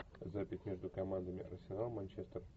запись между командами арсенал манчестер